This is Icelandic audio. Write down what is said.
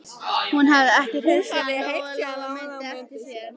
Hún hafði ekki hreyfst síðan Lóa-Lóa mundi eftir sér.